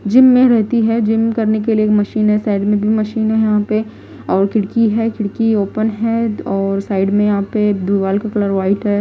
Gym में रहती है जिम करने के लिए मशीन है साइड में भी मशीन है यहां पे और खिड़की है खिड़की ओपन हैऔर साइड में यहां पे दिवाल का कलर वाइट है।